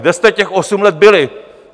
Kde jste těch osm let byli?